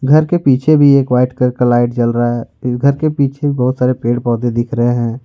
घर के पीछे भी एक व्हाइट कलर का लाइट जल रहा है घर के पीछे बहुत सारे पेड़ पौधे दिख रहे हैं।